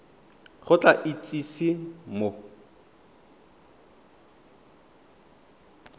o tla go itsise mo